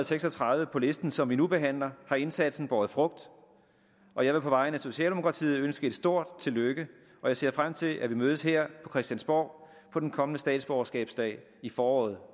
seks og tredive på listen som vi nu behandler har indsatsen båret frugt og jeg vil på vegne af socialdemokratiet ønske et stort tillykke og jeg ser frem til at vi mødes her på christiansborg på den kommende statsborgerskabsdag i foråret